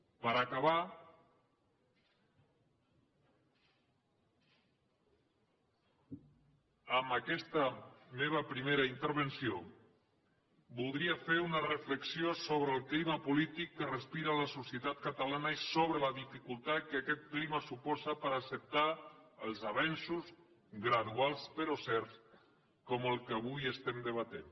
per acabar amb aquesta meva primera intervenció voldria fer una reflexió sobre el clima polític que respira la societat catalana i sobre la dificultat que aquest clima suposa per acceptar els avenços graduals però certs com els que avui estem debatent